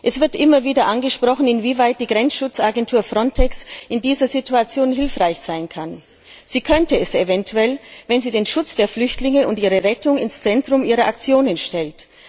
Es wird immer wieder angesprochen, inwieweit die Grenzschutzagentur Frontex in dieser Situation hilfreich sein kann. Sie könnte es eventuell sein, wenn sie den Schutz der Flüchtlinge und ihre Rettung ins Zentrum ihrer Aktionen stellt.